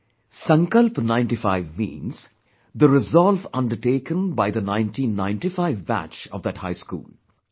'Sankalp 95' means, the resolve undertaken by the 1995 Batch of that High School